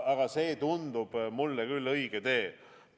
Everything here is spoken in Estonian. Aga see tundub mulle küll õige tee.